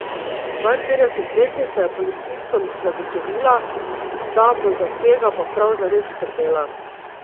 Dvainpetdesetletnica je policistom zagotovila, da bo za tega pa prav zares skrbela.